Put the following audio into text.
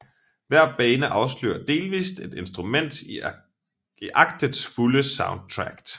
Hver bane afslører delvist et instrument i aktets fulde soundtrack